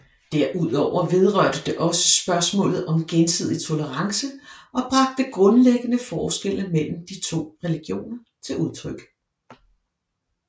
Derudover vedrørte det også spørgsmålet om gensidig tolerance og bragte grundlæggende forskelle mellem de to religioner til udtryk